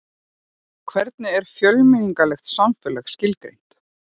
Hvernig er fjölmenningarlegt samfélag skilgreint?